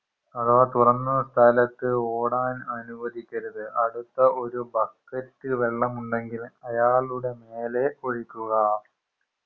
അഥവാ തുറന്ന സ്ഥലത്തു ഓടാൻ അനുവദിക്കരുത് അടുത്ത ഒരു ബക്കറ്റ് വെള്ളമുണ്ടെങ്കിൽ അയാളുടെ മേലെ ഒഴിക്കുക